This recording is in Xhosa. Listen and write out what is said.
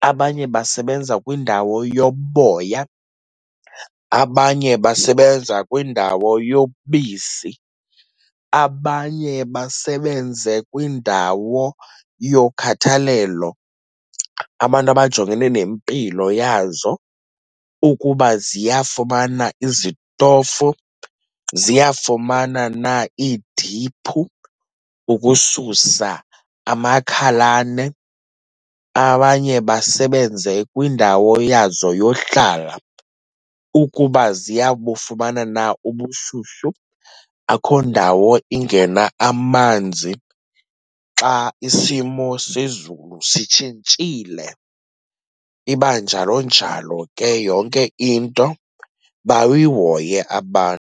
abanye basebenza kwindawo yoboya, abanye basebenza kwindawo yobisi, abanye basebenze kwindawo yokhathalelo. Abantu abajongene nempilo yazo, ukuba ziyafumana izitofu, ziyafumana na iidiphu ukususa amakhalane. Abanye basebenze kwindawo yazo yohlala ukuba ziyabufumana na ubushushu, akho ndawo ingena amanzi xa isimo sezulu sitshintshile. Iba njalo njalo ke yonke into, bayihoye abantu.